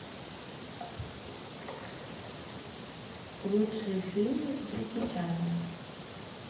лучшие фильмы с джеки чаном